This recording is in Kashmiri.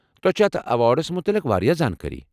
تۄہہ چھ اتھ ایواڑس متعلق واریاہ زانٛکٲری۔